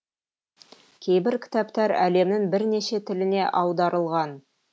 кейбір кітаптар әлемнің бірнеше тіліне аударылған